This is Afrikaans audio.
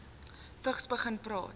vigs begin praat